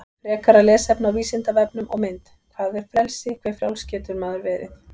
Frekara lesefni á Vísindavefnum og mynd Hvað er frelsi, hve frjáls getur maður verið?